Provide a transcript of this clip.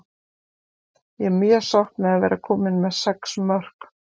Ég er mjög sátt með að vera komin með sex mörk.